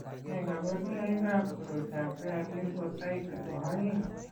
Nee kabarunoikab koroitoab Bare lymphocyte nebo aeng'?